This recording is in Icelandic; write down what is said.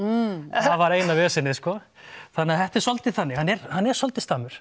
það var eina vesenið sko þannig að þetta er svolítið þannig hann er hann er svolítið